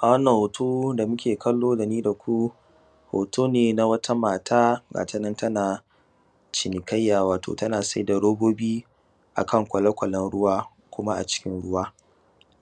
A wannan hoto da nike kallo dani daku hoto ne na wata mata gatanan tana cinikayya wato tana saida robobi akan kwale kwalen ruwa kuma a cikin ruwa.